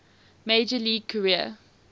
major league career